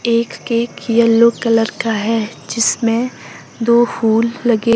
एक cake yellow colour का है जिसमें दो फूल लगे--